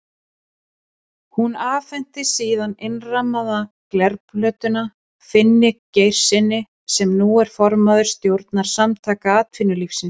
Hún afhenti síðan innrammaða glerplötuna Finni Geirssyni, sem nú er formaður stjórnar Samtaka atvinnulífsins.